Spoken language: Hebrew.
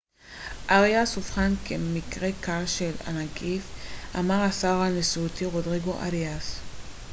אריאס אובחן כמקרה קל של הנגיף אמר השר הנשיאותי רודריגו אריאס